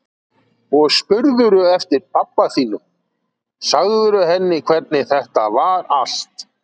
Og spurðirðu eftir pabba þínum. sagðirðu henni hvernig þetta var allt?